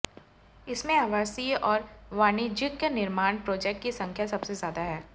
इसमें आवासीय और वाणिज्यिक निर्माण प्रोजेक्ट की संख्या सबसे ज्यादा है